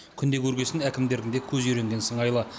күнде көрген соң әкімдердің де көзі үйренген сыңайлы